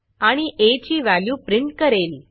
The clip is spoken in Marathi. आणि आ ची व्हॅल्यू प्रिंट करेल